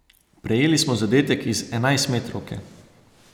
Prejeli smo zadetek iz enajstmetrovke.